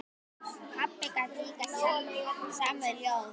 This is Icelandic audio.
Pabbi gat líka samið ljóð.